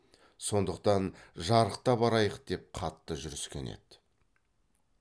сондықтан жарықта барайық деп қатты жүріскен еді